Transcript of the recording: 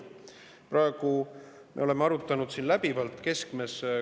Praegu me oleme arutanud siin läbivalt …